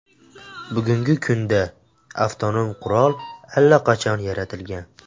Bugungi kunda avtonom qurol allaqachon yaratilgan.